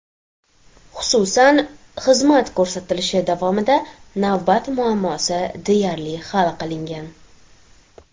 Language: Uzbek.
Xususan, xizmat ko‘rsatilishi davomida navbat muammosi deyarli hal qilingan.